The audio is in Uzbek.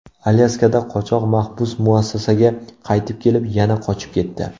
Alyaskada qochoq mahbus muassasaga qaytib kelib, yana qochib ketdi.